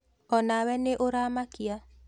O nawe nĩ ũra makia